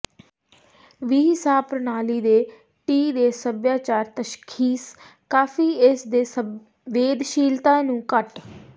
ਵੀ ਸਾਹ ਪ੍ਰਣਾਲੀ ਦੇ ਟੀ ਦੇ ਸਭਿਆਚਾਰ ਤਸ਼ਖੀਸ ਕਾਫ਼ੀ ਇਸ ਦੇ ਸੰਵੇਦਨਸ਼ੀਲਤਾ ਨੂੰ ਘੱਟ